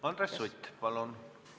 Andres Sutt, palun!